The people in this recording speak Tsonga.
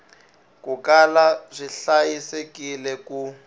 ku kala swi hlayisekile ku